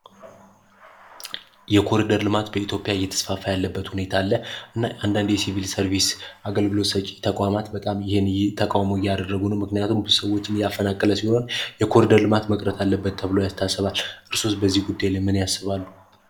የኮሊደር ልማት በኢትዮጵያ እየተስፋፋ ያለበት ሁኔታ አለ። አንዳንድ የሲቪል ሰርቪስ አገልግሎት ሰጪ ተቋማት በጣም ይህ ተቃውሞ እያደረጉ ነው። ምክንያቱም ሰዎችን እያፈናቀለ ሲሆን፤ የኮሊደር ልማት መቅረት አለበት ተብሎ የታሰባል። እርስዎስ በዚህ ጉዳይ ላይ ምን ያስባሉ?